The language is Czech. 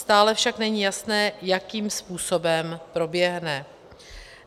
Stále však není jasné, jakým způsobem proběhne.